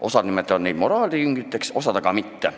Osa nimetab neid moraalijüngriteks, osa siiski mitte.